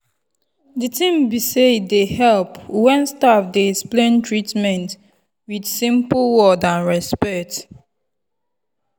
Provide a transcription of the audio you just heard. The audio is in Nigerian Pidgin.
the thing be sey e dey help when staff dey explain treatment with simple word and respect.